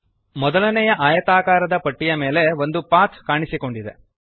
ಮೊದಲನೆಯ ಆಯತಾಕಾರದ ಪಟ್ಟಿಯ ಮೇಲೆ ಒಂದು ಪಾಥ್ ಕಾಣಿಸಿಕೊಂಡಿದೆ